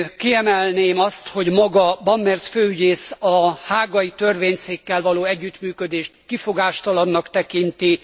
Kiemelném azt, hogy maga Brammertz főügyész a hágai törvényszékkel való együttműködést kifogástalannak tekinti.